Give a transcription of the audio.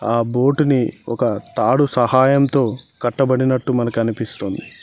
ఆ బోటు ని ఒక తాడు సహాయంతో కట్టబడినట్టు మనకు అనిపిస్తుంది.